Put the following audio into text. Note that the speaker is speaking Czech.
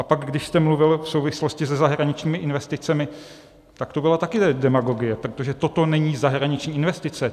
A pak když jste mluvil v souvislosti se zahraničními investicemi, tak to byla také demagogie, protože toto není zahraniční investice.